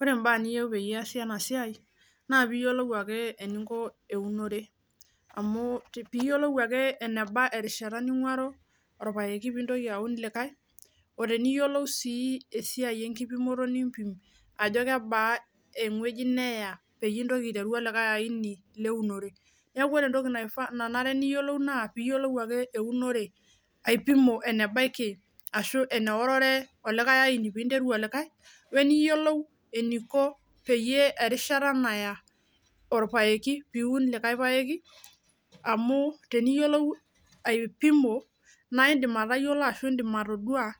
Ore imbaa niyieu peyie iasi ena siai naa piyiolou ake eninko eunore amu tii piyiolou ake eneba erishata ning'uaro orpayeki pintoki aun likae oteniyiolou sii esiai enkipimoto nimpim ajo kebaa eng'ueji neya peyie intoki aiteru olikae aini leunore niaku ore entoki naifaa nanare niyiolou naa piyiolou ake eunore aipimo enebaiki ashu eneorore olikae aini pinteru olikae weniyiolou eniko peyie erishata naya orpayeki piun likae payeki amu teniyiolou aipimo naindim atayiolo ashu indim atodua